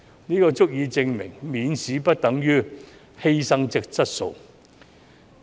這足以證明免試不等於犧牲質素。